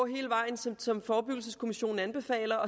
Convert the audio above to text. hele vejen som som forebyggelseskommissionen anbefaler